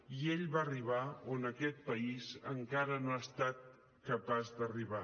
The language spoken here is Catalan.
i ell va arribar on aquest país encara no ha estat capaç d’arribar